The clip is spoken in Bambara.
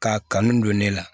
K'a kanu don ne la